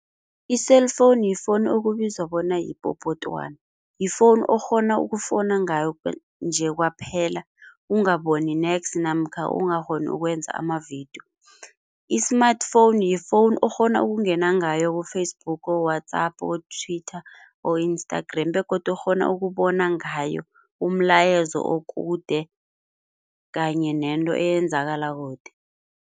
I-cell phone yifoni okubizwa bona yipopotwana. Yifoni okghona ukufona ngayo nje kwaphela ukungaboni nex namkha ungakghoni ukwenza amavidiyo. I-smartphone, yifoni okghona ukungena ngayo ku-Facebook, WhatsApp, Twitter, Instagram begodu okghona ukubona ngayo umlayezo okude kanye nento eyenzakalako kude.